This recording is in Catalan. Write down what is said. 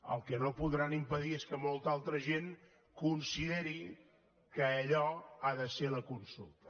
el que no podran impedir és que molta altra gent consideri que allò ha de ser la consulta